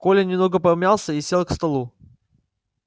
коля немного помялся и сел к столу